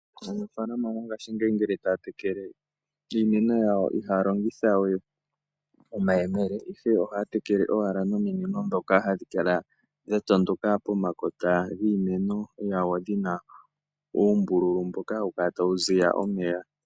Aanafalama mongashingeyi ngele taya tekele iimeno yawo ihaya longitha we omayemele, ihe ohaya tekele owala nominino dhoka hadhi kala dha tondoka pomakota giimeno yawo dhi na uumbululu mboka hawu kala tawu ziya omeya.